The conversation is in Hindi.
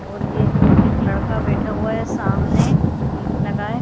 और ये एक लड़का बैठा हुआ है सामने कैप लगाए।